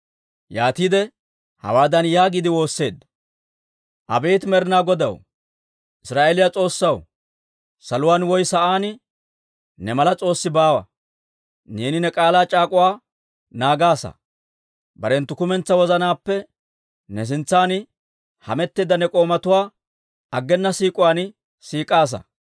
Yaatiide hawaadan yaagiide woosseedda; «Abeet Med'inaa Godaw, Israa'eeliyaa S'oossaw, saluwaan woy sa'aan ne mala s'oossi baawa. Neeni ne k'aalaa c'aak'uwaa naagaasa; barenttu kumentsaa wozanaappe ne sintsan hametteedda ne k'oomatuwaa aggena siik'uwaan siik'aasa.